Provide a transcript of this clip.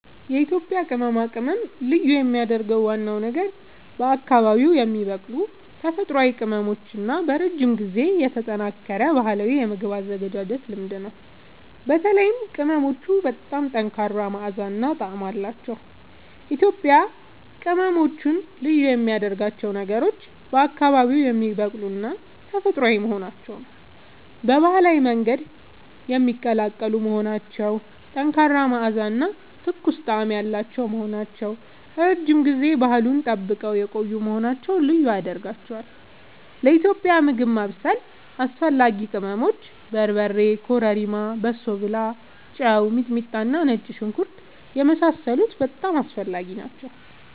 የኢትዮጵያ ቅመማ ቅመም ልዩ የሚያደርገው ዋናው ነገር በአካባቢዉ የሚበቅሉ ተፈጥሯዊ ቅመሞች እና በረጅም ጊዜ የተጠናከረ ባህላዊ የምግብ አዘገጃጀት ልምድ ነው። በተለይም ቅመሞቹ በጣም ጠንካራ መዓዛ እና ጣዕም አላቸዉ። ኢትዮጵያዊ ቅመሞች ልዩ የሚያደርጋቸው ነገሮች፦ በአካባቢዉ የሚበቅሉና ተፈጥሯዊ መሆናቸዉ፣ በባህላዊ መንገድ የሚቀላቀሉ መሆናቸዉ፣ ጠንካራ መዓዛ እና ትኩስ ጣዕም ያላቸዉ መሆናቸዉ፣ ረዥም ጊዜ ባህሉን ጠብቀዉ የቆዪ መሆናቸዉ ልዪ ያደርጋቸዋል። ለኢትዮጵያዊ ምግብ ማብሰል አስፈላጊ ቅመሞች፦ በርበሬ፣ ኮረሪማ፣ በሶብላ፣ ጨዉ፣ ሚጥሚጣና ነጭ ሽንኩርት የመሳሰሉት በጣም አስፈላጊ ናቸዉ